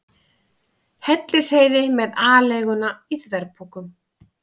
Hellisheiði með aleiguna í þverpokum.